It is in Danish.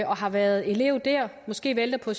har været elev der måske vælter på